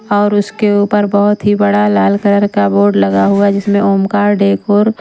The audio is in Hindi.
और उसके ऊपर बहुत ही बड़ा लाल कलर का बोर्ड लगा हुआ जिसमें ओमकार डेकोर ---